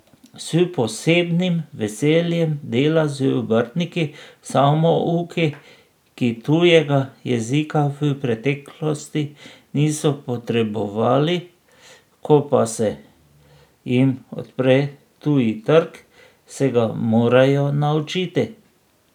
S posebnim veseljem dela z obrtniki, samouki, ki tujega jezika v preteklosti niso potrebovali, ko pa se jim odpre tuji trg, se ga morajo naučiti.